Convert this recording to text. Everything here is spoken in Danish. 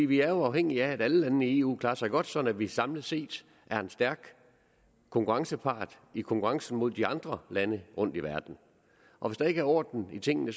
vi er jo afhængige af at alle landene i eu klarer sig godt sådan at vi samlet set er en stærk konkurrencepart i konkurrencen mod de andre lande rundt i verden og hvis der ikke er orden i tingene